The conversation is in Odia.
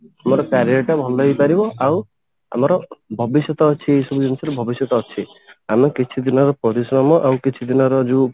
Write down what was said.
ଆମର career ଟା ଭଲ ହେଇପାରିବ ଆଉ ଆମର ଭବିଷ୍ୟତ ଅଛି ଭବିଷ୍ୟତ ଅଛି ଆମ କିଛି ଦିନର ପରିଶ୍ରମ ଆଉ କିଛି ଦିନର ଯଉ